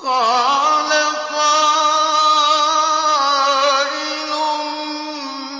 قَالَ قَائِلٌ